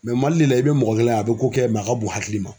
MALI de la i bɛ mɔgɔ kelen ye a bɛ ko kɛ a ka bon hakili ma.